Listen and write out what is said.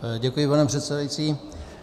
Děkuji, pane předsedající.